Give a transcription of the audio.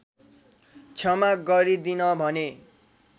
क्षमा गरिदिन भने